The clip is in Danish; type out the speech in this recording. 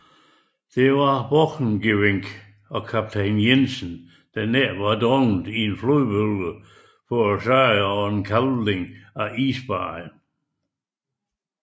Der var Borchgrevink og kaptajn Jensen nær ved at drukne i en flodbølge forårsaget af kalving fra isbarrieren